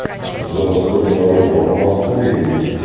за сто километров от москвы и